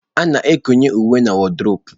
A na-ekowe uwe na wodrobu.